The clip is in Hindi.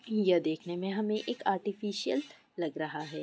यह देखने मे हमे एक आर्टिफीसियल लग रहा है।